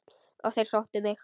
Og þeir sóttu mig.